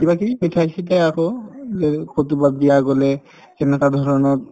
কিবাকিবি মিঠাই-চিঠাই আকৌ এই কৰবাত বিয়া গলে কেনেকুৱা ধৰণত